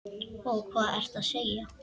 Og hvað ertu að segja?